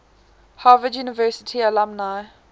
harvard university alumni